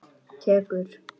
Tekur ekki mark á henni.